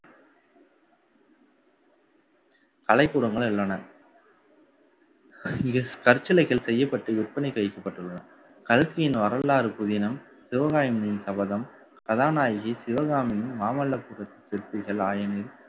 கலைக்கூடங்கள் உள்ளன. இங்கு கற்சிலைகள் செய்யப்பட்டு, விற்பனைக்கு வைக்கப்பட்டுள்ளன கல்கியின் வரலாறு புதினம் சிவகாமியின் சபதம் கதாநாயகி சிவகாமியின் மாமல்லபுர சிற்பிகள் ஆயினில்